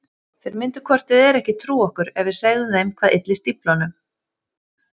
Þeir myndu hvort eð er ekki trúa okkur ef við segðum þeim hvað ylli stíflunum.